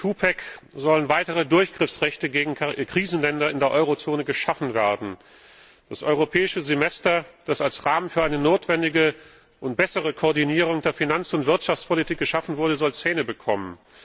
Mit dem Twopack sollen weitere Durchgriffsrechte gegen Krisenländer in der Eurozone geschaffen werden. Das Europäische Semester, das als Rahmen für eine notwendige und bessere Koordinierung der Finanz und Wirtschaftspolitik geschaffen wurde, soll Zähne bekommen.